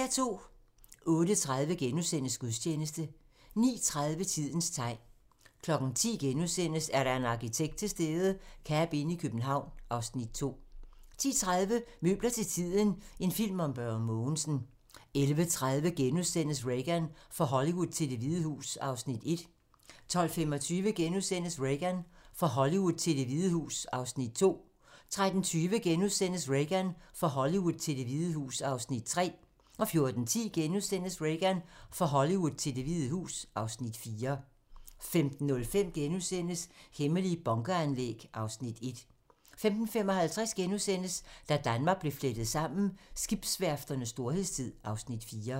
08:30: Gudstjeneste * 09:30: Tidens tegn 10:00: Er der en arkitekt til stede? - Cabinn i København (Afs. 2)* 10:30: Møbler til tiden - en film om Børge Mogensen 11:30: Reagan - fra Hollywood til Det Hvide Hus (Afs. 1)* 12:25: Reagan - fra Hollywood til Det Hvide Hus (Afs. 2)* 13:20: Reagan - fra Hollywood til Det Hvide Hus (Afs. 3)* 14:10: Reagan - fra Hollywood til Det Hvide Hus (Afs. 4)* 15:05: Hemmelige bunkeranlæg (Afs. 1)* 15:55: Da Danmark blev flettet sammen: Skibsværfternes storhedstid (Afs. 4)*